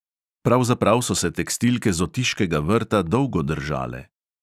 Pravzaprav so se tekstilke z otiškega vrta dolgo držale.